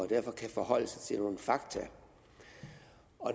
derfor kan forholde sig til nogle fakta